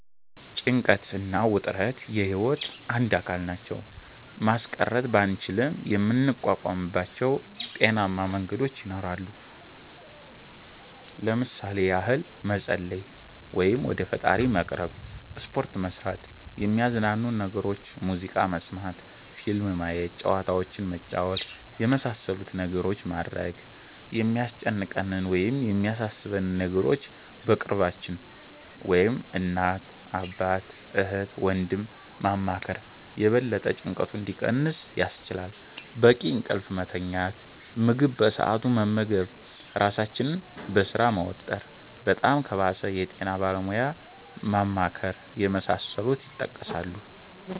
ጭንቀት እና ውጥረት የህይወት አንድ አካል ናቸው። ማስቀረት ባንችልም የምንቋቋምባቸው ጤናማ መንገዶች ይኖራሉ። ለምሣሌ ያህል መፀለይ(ወደ ፈጣሪ መቅረብ)፣ሰፖርት መስራት፣ የሚያዝናኑንን ነገሮች (ሙዚቃ መስመት፣ ፊልም ማየት፣ ጨዋታዎችንን መጫወት)የመሣሠሉትን ነገሮች ማድረግ፣ የሚያስጨንቀንን ወይም የሚያሣሦበንን ነገሮች በቅርባችን (እናት፣ አባት፣ እህት፣ ወንድም )ማማከር የበለጠ ጭንቀቱ እንዲቀንስ ያስችላል፣ በቂ እንቅልፍ መተኛት፣ ምግብ በሠአቱ መመገብ ራሣችንን በሥራ መወጠር፣ በጣም ከባሠ የጤና ባለሙያ ማማከር የመሣሠሉት ይጠቀሳሉ።